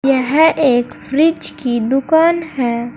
यह एक फ्रिज की दुकान है।